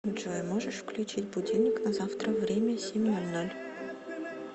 джой можешь включить будильник на завтра время семь ноль ноль